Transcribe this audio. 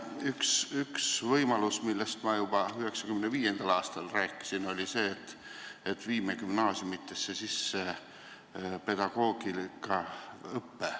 Üks võimalus, millest ma juba 1995. aastal rääkisin, oli see, et viime gümnaasiumides sisse pedagoogikaõppe.